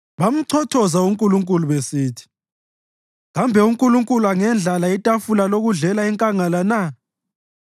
Bamchothoza uNkulunkulu besithi, “Kambe uNkulunkulu angendlala itafula lokudlela enkangala na?